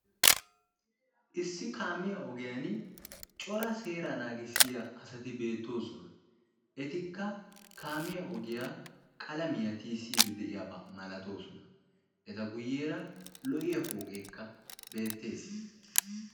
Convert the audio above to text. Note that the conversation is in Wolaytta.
Issi kaamiya ogiyan cora seera naagissiya asaati betosona. Etikka kaamiya ogiyaa qaalamiya tiyisidi deiyaba maalatosona. Eta guuyenka lo'iya pooqeka beetees.